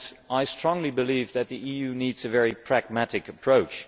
I strongly believe that the EU needs a very pragmatic approach.